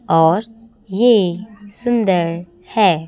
और ये सुंदर है।